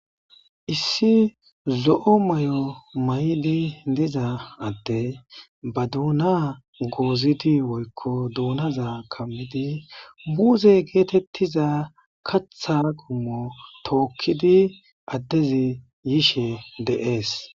Issi zo'o Mayo mayidi diza addey ba duuna goozidi woyko duunaza kamidi muuze getetiza kaatha qommo tookidi addezi yishe de'es.